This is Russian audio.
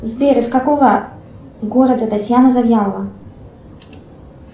сбер из какого города татьяна завьялова